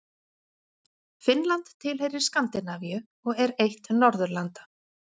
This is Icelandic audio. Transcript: Finnland tilheyrir Skandinavíu og er eitt Norðurlanda.